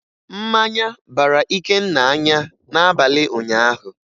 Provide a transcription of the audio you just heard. Mmanya bara Ikenna anya n'abalị ụnyaahụ